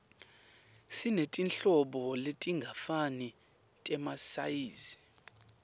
sinetinhlobo letingafani temasayizi